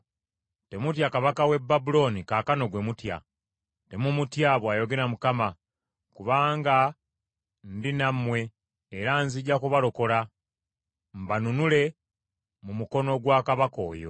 Temutya kabaka w’e Babulooni, kaakano gwe mutya. Temumutya, bw’ayogera Mukama , kubanga ndi nammwe era nzija kubalokola, mbanunule mu mukono gwa kabaka oyo.